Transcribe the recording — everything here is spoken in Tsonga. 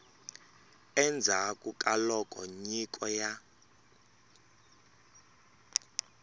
endzhaku ka loko nyiko ya